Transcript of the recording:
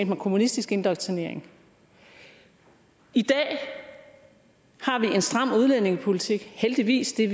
man kommunistisk indoktrinering i dag har vi en stram udlændingepolitik heldigvis det er